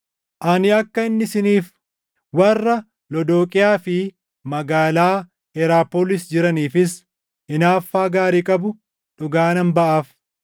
Ani akka inni isiniif, warra Lodooqiyaa fi magaalaa Heraapoolis jiraniifis hinaaffaa gaarii qabu dhugaa nan baʼaaf.